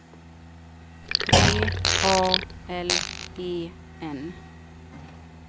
V A L E N